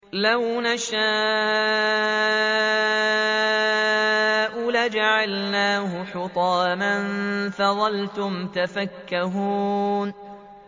لَوْ نَشَاءُ لَجَعَلْنَاهُ حُطَامًا فَظَلْتُمْ تَفَكَّهُونَ